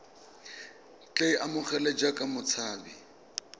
tle a amogelwe jaaka motshabi